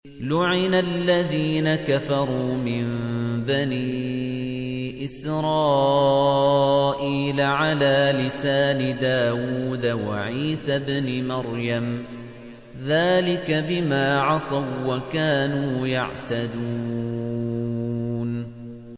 لُعِنَ الَّذِينَ كَفَرُوا مِن بَنِي إِسْرَائِيلَ عَلَىٰ لِسَانِ دَاوُودَ وَعِيسَى ابْنِ مَرْيَمَ ۚ ذَٰلِكَ بِمَا عَصَوا وَّكَانُوا يَعْتَدُونَ